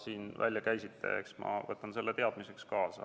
siin välja käisite, ma võtan teadmiseks kaasa.